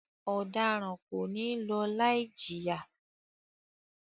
Ọdaran ko ni lọ laijiya!